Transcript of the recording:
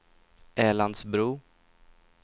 Älandsbro